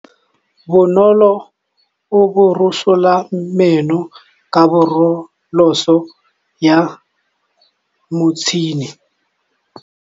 Bonolô o borosola meno ka borosolo ya motšhine.